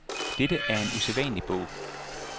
Dette er en usædvanlig bog.